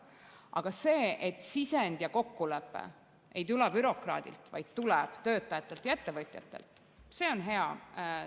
Aga see, et sisend ja kokkulepe ei tule bürokraadilt, vaid töötajatelt ja ettevõtjatelt, on hea.